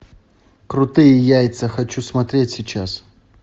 крутые яйца хочу смотреть сейчас